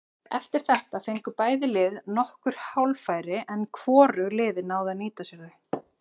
Eftir þetta fengu bæði lið nokkur hálffæri en hvorug liðin náðu að nýta sér þau.